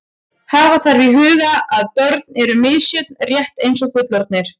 Hafa þarf í huga að börn eru misjöfn rétt eins og fullorðnir.